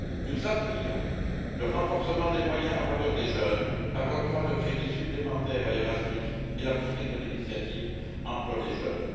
Nous appuyons le renforcement des moyens en faveur des jeunes par l'octroi de crédits supplémentaires à Erasmus et la poursuite de l'initiative Emploi des jeunes.